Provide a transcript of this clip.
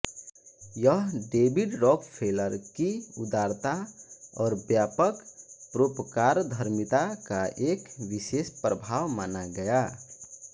यह David Rockefeller की उदारता और व्यापक परोपकारधर्मिता का एक विशेष प्रभाव माना गया